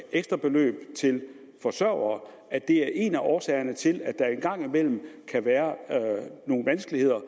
ekstrabeløbet til forsørgere er en af årsagerne til at der en gang imellem kan være nogle vanskeligheder